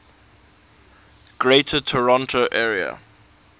greater toronto area